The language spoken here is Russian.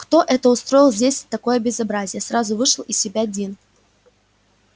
кто это устроил здесь такое безобразие сразу вышел из себя дин